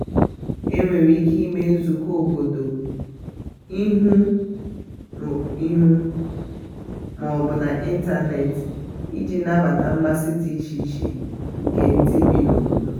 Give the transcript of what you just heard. e nwere ike ịme nzụkọ obodo ihu obodo ihu na ihu ma ọ bụ n' ịntanetị iji nabata mmasị dị iche iche nke ndị bi n'obodo.